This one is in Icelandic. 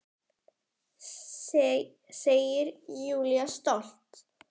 Segir Júlía stolt.